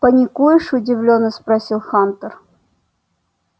паникуешь удивлённо спросил хантер